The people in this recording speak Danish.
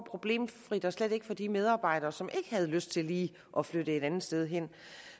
problemfrit og slet ikke for de medarbejdere som ikke har lyst til lige at flytte et andet sted hen